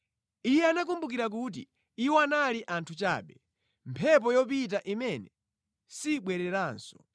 Iye anakumbukira kuti iwo anali anthu chabe, mphepo yopita imene sibwereranso.